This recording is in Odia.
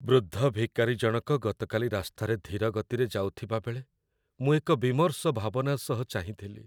ବୃଦ୍ଧ ଭିକାରୀ ଜଣକ ଗତକାଲି ରାସ୍ତାରେ ଧୀର ଗତିରେ ଯାଉଥିବାବେଳେ ମୁଁ ଏକ ବିମର୍ଷ ଭାବନା ସହ ଚାହିଁଥିଲି।